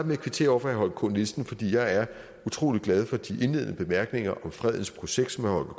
med at kvittere over for herre holger k nielsen fordi jeg er utrolig glad for de indledende bemærkninger om fredens projekt som herre